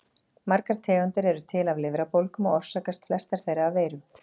Margar tegundir eru til af lifrarbólgum og orsakast flestar þeirra af veirum.